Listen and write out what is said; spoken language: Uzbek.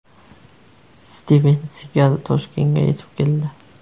Stiven Sigal Toshkentga yetib keldi.